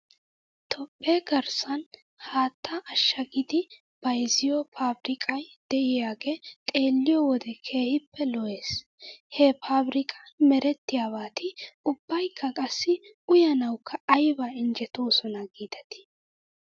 Toophphe garssan haattaa ashagidi bayzziyoo faabrikkay de'iyaagee xeelliyyoo wode keehippe lo'es. He faabrikkan merettiyaabati ubbaykka qassi uyanawkka ayba injjetoosona giidetii